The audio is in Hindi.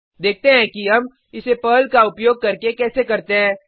देखते हैं कि हम इसे पर्ल का उपयोग करके कैसे करते हैं